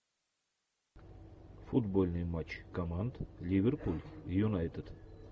футбольный матч команд ливерпуль и юнайтед